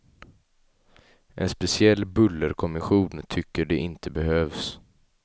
En speciell bullerkommission tycker de inte behövs.